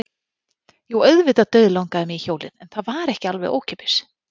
Jú, auðvitað dauðlangaði mig í hjólið en það var ekki alveg ókeypis.